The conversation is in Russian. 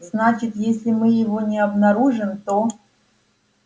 значит если мы его не обнаружим то